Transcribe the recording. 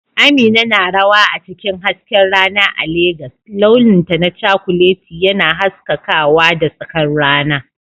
Amina na rawa a cikin hasken rana a Legas, launinta na cakuleti yana haskakawa da tsakar rana.